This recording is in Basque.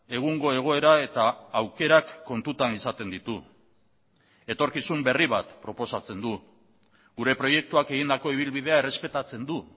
egungo egoera eta aukerak kontutan izaten ditu etorkizun berri bat proposatzen du gure proiektuak egindako ibilbidea errespetatzen du